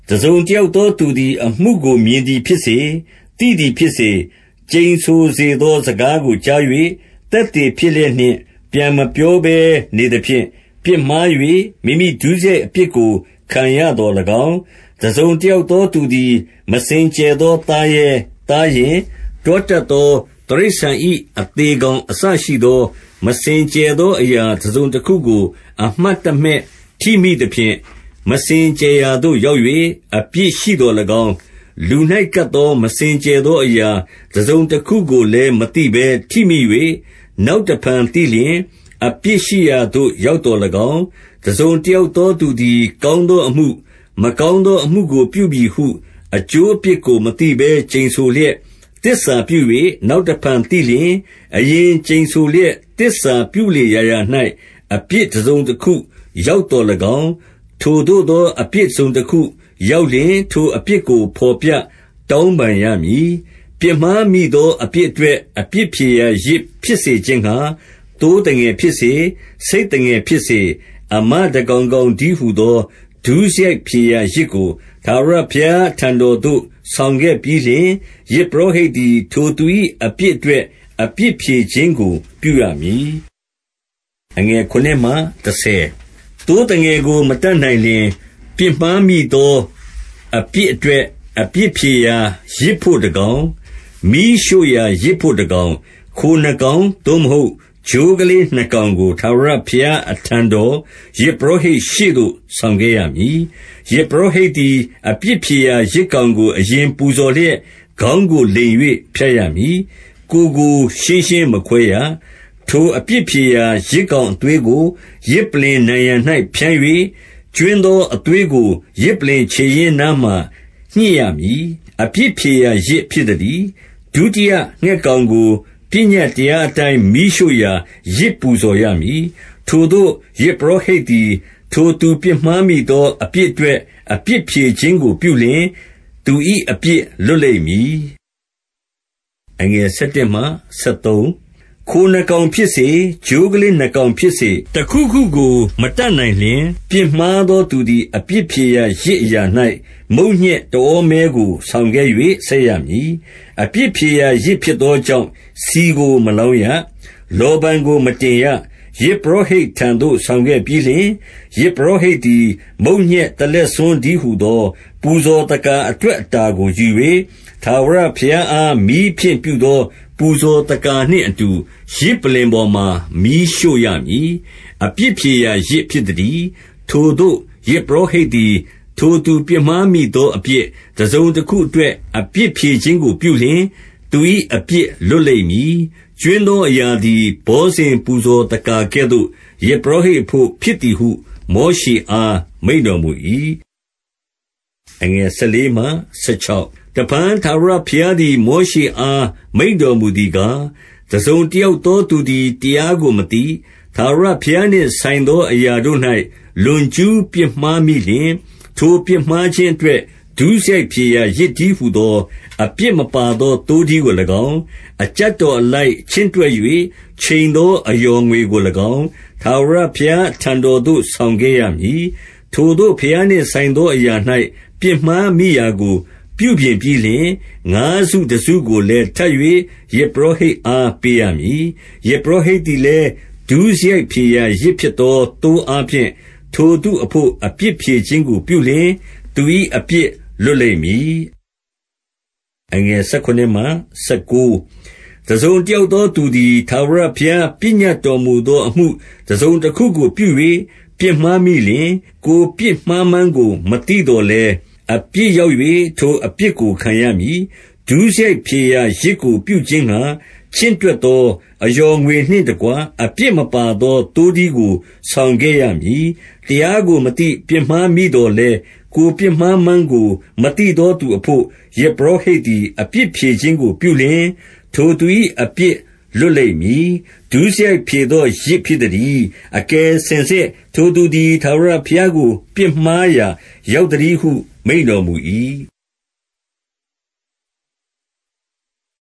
တစုံတယောက်သောသူသည် အမှုကို မြင်သည်ဖြစ်စေ၊ သိသည်ဖြစ်စေ၊ ကျိန်ဆိုစေသော စကားကို ကြား၍၊ သက်သေဖြစ်လျက်နှင့် ပြန်မပြောဘဲနေသဖြင့် ပြစ်မှား၍၊ မိမိ ဒုစရိုက် အပြစ်ကို ခံရသော်၎င်း၊ 2 တစုံတယောက်သောသူသည် မစင်ကြယ်သော သားရဲ၊ သားယဉ်၊ တွားတတ်သော တိရစ္ဆာန်၏ အသေကောင် အစရှိသော မစင်ကြယ်သော အရာတစုံတခုကို အမှတ်တမဲ့ ထိမိသဖြင့်၊ မစင်ကြယ် ရာသို့ ရောက်၍ အပြစ်ရှိသော်၎င်း၊ 3 လူ၌ ကပ်သော မစင်ကြယ်သော အရာတစုံတခုကိုလည်း၊ မသိဘဲ ထိမိ၍ နောက်တဖန် သိလျှင်၊ အပြစ်ရှိရာသို့ ရောက်သော်၎င်း၊ 4 တစုံတယောက်သော သူသည် ကောင်းသောအမှု၊ မကောင်းသောအမှုကို ပြုမည်ဟု အကျိုးအပြစ် ကို မသိဘဲ ကျိန်ဆိုလျက် သစ္စာပြု၍ နောက်တဖန်သိလျှင်၊ အရင်ကျိန်ဆိုလျက် သစ္စာ ပြုလေရာရာ၌ အပြစ်တစုံတခု ရောက်သော်၎င်း၊ 5 ထိုသို့သောအပြစ် တစုံတခု ရောက်လျှင်၊ ထိုအပြစ်ကို ဘော်ပြ တောင်းပန်းရမည်။ 6 ပြစ်မှားမိသော အပြစ်အတွက် အပြစ်ဖြေရာ ယဇ်ဖြစ်စေခြင်းငှါ သိုးသငယ်ဖြစ်စေ၊ ဆိတ်သငယ်ဖြစ်စေ၊ အမ တကောင်ကောင်တည်းဟူသော ဒုစရိုက်ဖြေရာယဇ်ကို ထာဝရဘုရား အထံတော်သို့ ဆောင်ခဲ့ပြီးလျှင်၊ ယဇ်ပုရောဟိတ်သည် ထိုသူ၏ အပြစ်အတွက် အပြစ်ဖြေခြင်းကို ပြုရမည်။ 7 သိုးသငယ်ကို မတတ်နိုင်လျှင်၊ ပြစ်မှားမိသော အပြစ်အတွက် အပြစ်ဖြေရာယဇ်ဘို့ တကောင်၊ မီးရှို့ရာယဇ်ဘို့ တကောင်၊ ခိုနှစ်ကောင်၊ သို့မဟုတ် ချိုးကလေးနှစ်ကောင်ကို ထာဝရဘုရား အထံတော်၊ ယဇ်ပုရောဟိတ်ရှေ့သို့ ဆောင်ခဲ့ရမည်။ 8 ယဇ်ပုရောဟိတ် ရှေ့သို့ ဆောင်ခဲ့ရမည်။ ယဇ်ပုရောဟိတ် သည် အပြစ်ဖြေရာ ယဇ်ကောင်ကို အရင်ပူဇော်လျက်၊ ခေါင်းကိုလိမ်၍ ဖြတ်ရမည်။ ကိုယ်ကို ရှင်းရှင်းမခွဲရ။ 9 ထိုအပြစ်ဖြေရာ ယဇ်ကောင်အသွေးကို ယဇ်ပလ္လင်နံရံ၌ဖြန်း၍၊ ကြွင်းသော အသွေးကို ယဇ်ပလ္လင် ခြေရင်းနားမှာ ညှစ်ရမည်။ အပြစ်ဖြေရာယဇ် ဖြစ်သတည်း။- 10 ဒုတိယ ငှက်ကောင်ကို၊ ပညတ်တရားအတိုင်း မီးရှို့ရာ ယဇ်ပူဇော်ရ မည်။ ထိုသို့ ယဇ်ပုရောဟိတ်သည်၊ ထိုသူပြစ်မှားမိသောအပြစ်အတွက် အပြစ်ဖြေခြင်းကိုပြုလျှင်၊ သူ၏ အပြစ်လွတ်လိမ့်မည်။ 11 ခိုနှစ်ကောင်ဖြစ်စေ၊ ချိုးကလေး နှစ်ကောင်ဖြစ်စေ၊ တခုခုကို မတတ်နိုင်လျှင်၊ ပြစ်မှားသောသူသည် အပြစ်ဖြေရာယဇ် အရာ၌ မုန့်ညက်တဩမဲကို ဆောင်ခဲ့၍၊ ဆက်ရမည်။ အပြစ်ဖြေရာယဇ် ဖြစ်သော ကြောင့် ဆီကို မလောင်းရ။ လောဗန်ကို မတင်ရ။ 12 ယဇ်ပုရောဟိတ်ထံသို့ ဆောင်ခဲ့ပြီးလျှင်၊ ယဇ်ပုရောဟိတ်သည် မုန့်ညက်တလက်ဆွန်းတည်းဟူသော ပူဇော်သက္ကာအတွက် အတာကိုယူ၍၊ ထာဝရဘုရားအား မီးဖြင့်ပြုသော ပူဇော်သက္ကာနှင့် အတူ ယဇ်ပလ္လင်ပေါ်မှာ မီးရှို့ရမည်။ အပြစ်ဖြေရာယဇ် ဖြစ်သတည်း။ 13 ထိုသို့ ယဇ်ပုရောဟိတ်သည်၊ ထိုသူ ပြစ်မှားမိသော အပြစ် တစုံတခုအတွက် အဖြစ်ဖြေခြင်းကို ပြုလျှင်၊ သူ၏ အပြစ်လွှတ်လိမ့်မည်။ ကြွင်းသောအရာသည် ဘောဇဉ် ပူဇော်သက္ကာကဲ့သို့၊ ယဇ်ပုရော ဟိတ်အဘို့ ဖြစ်သည်ဟု မောရှေအား မိန့်တော်မူ၏ 14 တဖန်ထာဝရဘုရားသည် မောရှေအား မိန့်တော်မူသည်ကား၊ 15 တစုံတယောက်သောသူသည် တရားကိုမသိ၊ ထာဝရဘုရားနှင့် ဆိုင်သောအရာတို့၌ လွန်ကျူး ပြစ်မှားမိလျှင်၊ ထိုပြစ်မှားခြင်းအတွက် ဒုစရိုက်ဖြေရာယဇ် တည်းဟူသော အပြစ်မပါသော သိုးထီးကို ၎င်း၊ အကျပ်တော်အလိုက် ချင့်တွက်၍ ချိန်သော အလျော်ငွေကို၎င်း၊ ထာဝရဘုရားအထံတော်သို့ ဆောင်ခဲ့ရမည်။ 16 ထိုသို့ ဘုရားနှင့်ဆိုင်သော အရာ၌ ပြစ်မှားမိရာကို ပြုပြင်ပြီးလျှင်၊ ငါးစုတစုကိုလည်း ထပ်၍ ယဇ်ပုရောဟိတ်အား ပေးရမည်။ ယဇ်ပုရောဟိတ်သည်လည်း၊ ဒုစရိုက်ဖြေရာယဇ်ဖြစ်သော သိုးအား ဖြင့်၊ ထိုသူအဘို့ အပြစ်ဖြေခြင်းကို ပြုလျှင်၊ သူ၏အပြစ်လွတ်လိမ့်မည်။ 17 တစုံတယောက်သောသူသည်၊ ထာဝရဘုရား ပညတ်တော်မူသော အမှုတစုံတခုကို ပြု၍ ပြစ်မှား မိလျှင်၊ ကိုယ်ပြစ်မှားမှန်းကို မသိသော်လည်း၊ အပြစ်ရောက်၍၊ ထိုအပြစ်ကိုခံရမည်။ - 18 ဒုစရိုက်ဖြေရာယဇ်ကိုပြုခြင်းငှါ ချင့်တွက်သော အလျော်ငွေနှင့်တကွ၊ အပြစ်မပါသော သိုးထီးကို ဆောင်ခဲ့ရမည်။ တရားကိုမသိ ပြစ်မှားမိသော်လည်း၊ ကိုယ်ပြစ်မှားမှန်းကို မသိသောသူအဘို့ ယဇ်ပုရောဟိတ်သည် အပြစ်ဖြေခြင်းကို ပြုလျှင်၊ ထိုသူ၏ အပြစ်လွတ်လိမ့်မည်။ 19 ဒုစရိုက်ဖြေသောယဇ် ဖြစ်သတည်း။ အကယ်စင်စစ် ထိုသူသည် ထာဝရဘုရားကို ပြစ်မှားရာ ရောက်သတည်းဟု မိန့်တော်မူ၏။